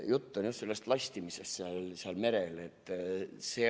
Jutt on just sellest lastimisest seal merel.